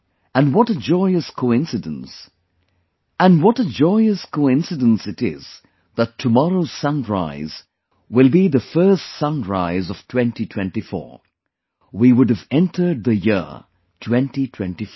And what a joyous coincidence it is that tomorrow's sunrise will be the first sunrise of 2024 we would have entered the year 2024